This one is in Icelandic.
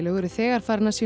eru þegar farin að sýna